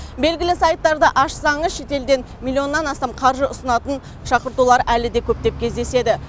белгілі сайттарды ашсаңыз шетелден миллионнан астам қаржы ұсынатын шақыртулар әлі де көптеп кездеседі